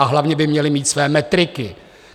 A hlavně by měly mít své metriky.